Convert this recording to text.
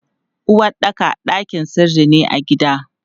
Uwaɗɗaka ɗakin sirri ne a gida.